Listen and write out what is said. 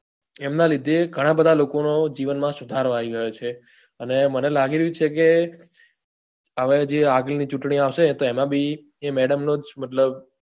એમના લીધે ઘણાં બધા લોકો નો જીવન માં સુધારો આવી રહ્યો છે અને મને લાગી રહ્યું છે કે હવે જે આગળ ની ચુંટણી આવશે તો એમાં બી એ madam જ મતલબ